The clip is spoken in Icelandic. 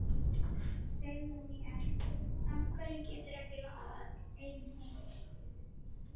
Segðu mér. af hverju geturðu ekki labbað ein heim?